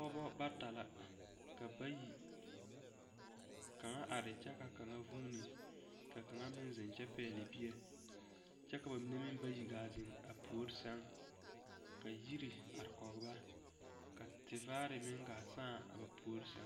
Pɔgeba bata la ka bayi kaŋa are kyɛ ka kaŋa vuuni ka kaŋa meŋ zeŋ kyɛ pɛgle bie kyɛ ka ba mine meŋ bayi gaa zeŋ a puori sɛŋ ka yiri are kɔge ba ka tevaare meŋ gaa sãã a puori sɛŋ.